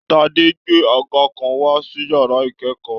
Tádé gbé àga kàn wá sí yàrá ikẹkọọ.